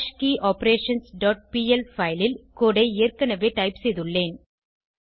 ஹாஷ்கியோபரேஷன்ஸ் dot PL file ல் code ஐ ஏற்கனவே டைப் செய்துள்ளேன்